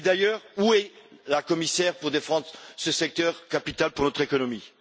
D'ailleurs, où est la commissaire pour défendre ce secteur capital pour notre économie?